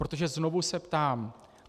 Protože znovu se ptám.